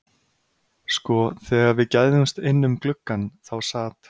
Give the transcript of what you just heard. Sko, þegar við gægðumst inn um gluggann þá sat